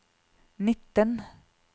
nitten